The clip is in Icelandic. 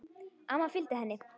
Amma fylgdi henni.